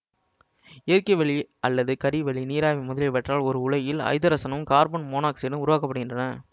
இயற்கைவளி அல்லது கரி வளி நீராவி முதலியவற்றால் ஓர் உலையில் ஐதரசனும் கார்பன் மோனாக்சைடும் உருவாக்கப்படுகின்றன